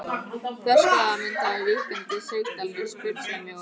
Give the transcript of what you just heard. Þverskurðarmynd af víkkandi sigdal með sprungusveimi og gossprungum.